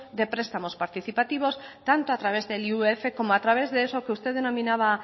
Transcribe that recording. de prestamos participativos tanto a través del como a través de eso que usted denominaba